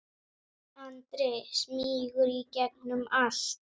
Andri: Smýgur í gegnum allt?